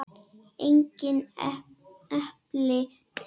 Engin epli til!